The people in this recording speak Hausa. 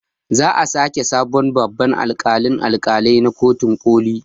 Za a sake sabon babban alƙalin alƙalai na kotun ƙoli